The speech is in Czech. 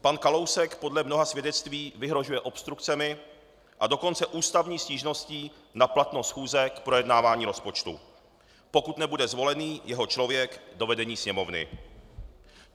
Pan Kalousek podle mnoha svědectví vyhrožuje obstrukcemi, a dokonce ústavní stížností na platnost schůze k projednávání rozpočtu, pokud nebude zvolený jeho člověk do vedení Sněmovny.